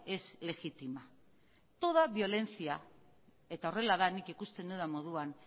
es legítima toda violencia eta horrela da nik ikusten dudan moduan